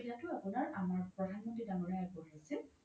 সেই সুবিধাতো আমাৰ প্ৰধান মন্ত্ৰি দাঙৰীয়াৰ আগবঢ়াইছে